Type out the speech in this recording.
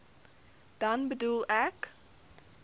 dan bedoel ek